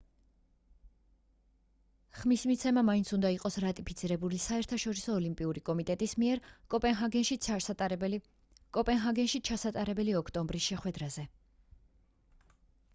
ხმის მიცემა მაინც უნდა იყოს რატიფიცირებული საერთაშორისო ოლიმპიური კომიტეტის მიერ კოპენჰაგენში ჩასატარებელ ოქტომბრის შეხვედრაზე